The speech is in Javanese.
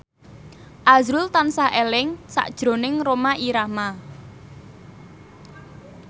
azrul tansah eling sakjroning Rhoma Irama